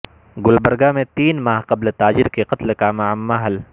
گلبرگہ میں تین ماہ قبل تاجر کے قتل کا معمہ حل